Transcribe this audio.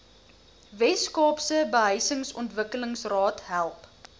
weskaapse behuisingsontwikkelingsraad help